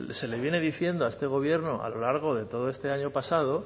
se le viene diciendo a este gobierno a lo largo de todo este año pasado